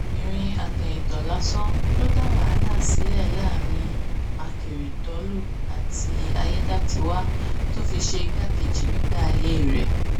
obìnrin àtẹ̀yìntọ̀ lásán ló dá wàhálà sílẹ̀ láàrin àkèrèdọ́lù àti ayédátiwá tó fi ṣe igbákejì nígbà ayé ẹ̀